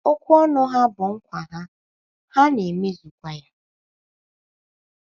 Okwu ọnụ ha bụ nkwa ha, ha na - ha na - emezukwa ya.